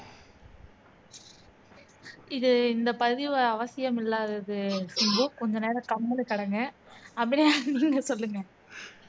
இது இந்த பதிவு அவசியம் இல்லாதது சிம்பு கொஞ்சநேரம் கம்முனு கடங்க அபிநயா நீங்க சொல்லுங்க